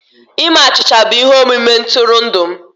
Ime achịcha bụ ihe omume ntụrụndụ m